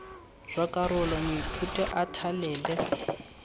jwa karolo moithuti a thalele